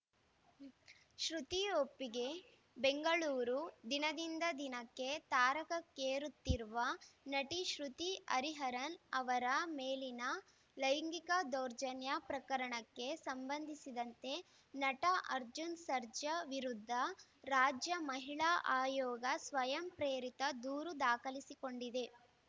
ಶ್ರುತಿ ಒಪ್ಪಿಗೆ ಬೆಂಗಳೂರು ದಿನದಿಂದ ದಿನಕ್ಕೆ ತಾರಕಕ್ಕೇರುತ್ತಿರುವ ನಟಿ ಶ್ರುತಿ ಹರಿಹರನ್‌ ಅವರ ಮೇಲಿನ ಲೈಂಗಿಕ ದೌರ್ಜನ್ಯ ಪ್ರಕರಣಕ್ಕೆ ಸಂಬಂಧಿಸಿದಂತೆ ನಟ ಅರ್ಜುನ್‌ ಸರ್ಜಾ ವಿರುದ್ಧ ರಾಜ್ಯ ಮಹಿಳಾ ಆಯೋಗ ಸ್ವಯಂ ಪ್ರೇರಿತ ದೂರು ದಾಖಲಿಸಿಕೊಂಡಿದೆ